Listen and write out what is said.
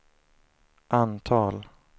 antal